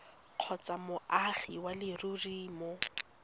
kgotsa moagi wa leruri mo